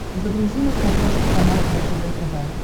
загрузи на смотрешке канал ржд тв